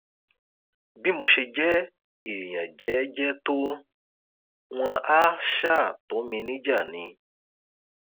bí mo ṣe jẹ èèyàn jẹẹjẹ tó wọn àá ṣáà tó mi níjà ni